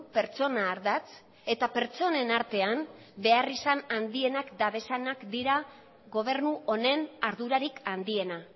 pertsona ardatz eta pertsonen artean beharrizan handienak dituztenak dira gobernu honen ardurarik handiena